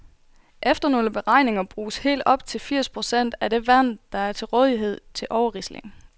Efter nogle beregninger bruges helt op til firs procent af det vand, der er til rådighed, til overrisling.